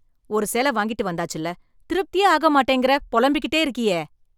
ஒரு சேல வாங்கிட்டு வந்தாச்சுல, திருப்தியே ஆக மாட்டேங்கிற, புலம்பிகிட்டே இருக்கியே.